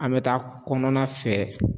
An bɛ taa kɔnɔna fɛ